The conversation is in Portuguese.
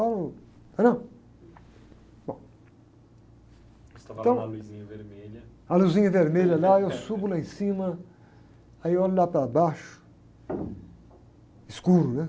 lá no, entendeu? Bom...ocê estava lá na luzinha vermelha... luzinha vermelha lá, eu subo lá em cima, aí eu olho lá para baixo, escuro, né?